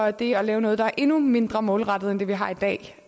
at det at lave noget der er endnu mindre målrettet end det vi har i dag